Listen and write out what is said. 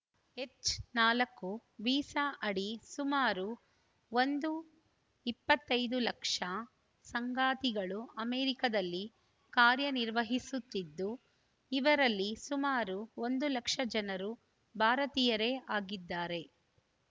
H ನಾಲ್ಕು visa ಅಡಿ ಸುಮಾರು ಒಂದು ಇಪ್ಪತ್ತೈದು ಲಕ್ಷ ಸಂಗಾತಿಗಳು ಅಮೆರಿಕದಲ್ಲಿ ಕಾರ್ಯನಿರ್ವಹಿಸುತ್ತಿದ್ದು ಇವರಲ್ಲಿ ಸುಮಾರು ಒಂದು ಲಕ್ಷ ಜನರು ಭಾರತೀಯರೇ ಆಗಿದ್ದಾರೆ